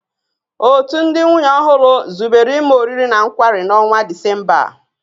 Òtù ndị nwunye ọhụrụ zubere ime oriri na nkwari n'ọnwa Disemba a